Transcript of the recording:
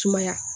Sumaya